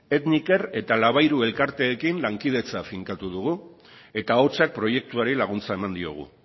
etniker eta labairu elkarteekin lankidetza finkatu dugu eta ahotsak proiektuari laguntza eman diogu